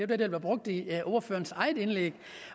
det blev brugt i ordførerens eget indlæg